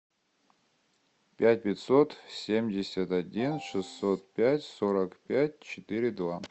пять пятьсот семьдесят один шестьсот пять сорок пять четыре два